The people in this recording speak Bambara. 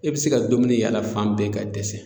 E bɛ se ka dumuni yaala fan bɛɛ ka dɛsɛ